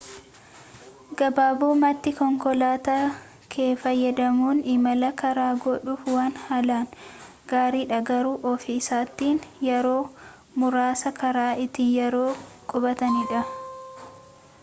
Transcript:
gabaabumatti konkolaataa kee fayyadamuun imala karaa godhuuf waan haalaan gaariidha garuu ofii isaatiin yeroo muraasa karaa itti yeroof qubatanidha